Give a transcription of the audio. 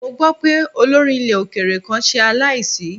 Mo gbọ́ pé olórin ilẹ̀ òkèèrè kan ṣe aláìsí.